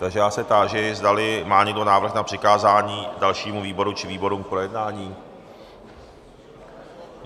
Takže já se táži, zdali má někdo návrh na přikázání dalšímu výboru či výborům k projednání.